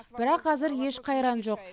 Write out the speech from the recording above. бірақ әзір еш қайран жоқ